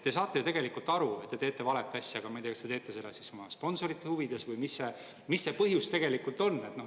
Te saate ju tegelikult aru, et te teete valet asja, aga ma ei tea, kas te teete seda oma sponsorite huvides või mis see põhjus tegelikult on.